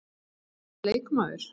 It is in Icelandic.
Uppáhalds leikmaður?